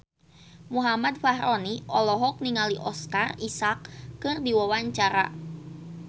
Muhammad Fachroni olohok ningali Oscar Isaac keur diwawancara